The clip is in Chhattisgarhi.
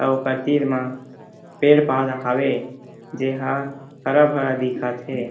अउ ओकर तीर मा पेड़-पौधा हावे जे हा हरा-भरा दिखत हे।